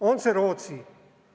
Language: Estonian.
On see Rootsi?